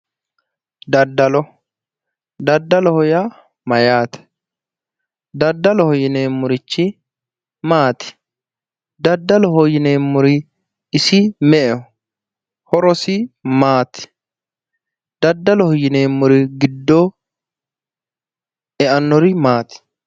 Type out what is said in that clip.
Daddalo. Daddaloho yaa Mayyaate? Daddaloho yineemorichi maati? Daddaloho yineemori isi me"eho? Horosi maati? Daddaloho yineemori giddo eanori maati?